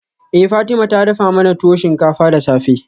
Eh Fatima ta dafa mana tuwo shinkafa da safe.